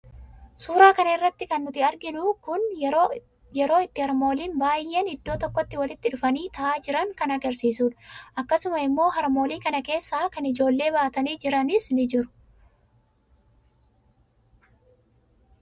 Suuraa kana irraa kan nuti arginu kun yeroo itti harmooliin baayeen iddoo tokkotti walitti dhufanii taaha jiran kan agarsiisuudha. Akkasuma immoo harmoolii kana keessaa kan ijoollee baatanii jiranis ni jiru.